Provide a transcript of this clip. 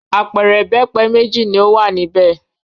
Apẹ̀rẹ̀ ìbẹ́pẹ méjì ni ó wà níbẹ̀.